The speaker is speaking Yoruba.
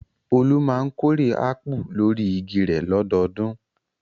Olú máa ń kórè ápù lórí igi rẹ̀ lọ́dọọdún.